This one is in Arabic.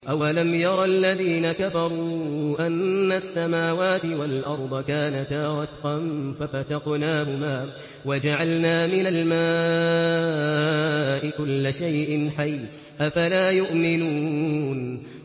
أَوَلَمْ يَرَ الَّذِينَ كَفَرُوا أَنَّ السَّمَاوَاتِ وَالْأَرْضَ كَانَتَا رَتْقًا فَفَتَقْنَاهُمَا ۖ وَجَعَلْنَا مِنَ الْمَاءِ كُلَّ شَيْءٍ حَيٍّ ۖ أَفَلَا يُؤْمِنُونَ